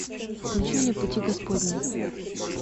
включи мне пути господни